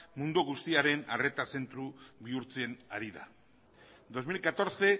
mundu guztiaren arreta zentro bihurtzen ari da dos mil catorce